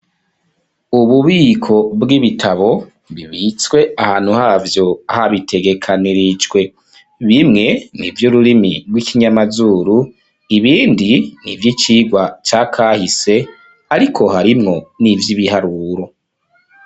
Ububiko bw'ibitabo bibitswe ahantu havyo habitegekanirijwe. Bimwe n'ivy'ururimi rw'ikinyamazuru ibindi n'ivy'icigwa ca kahise ariko harimwo n'ivy'ibiharuro.